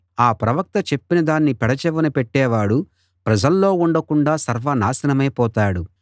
ఆ ప్రవక్త చెప్పినదాన్ని పెడచెవిన పెట్టేవాడు ప్రజల్లో ఉండకుండా సర్వనాశనమై పోతాడు